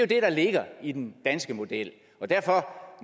det der ligger i den danske model og derfor